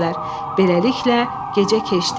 Beləliklə, gecə keçdi.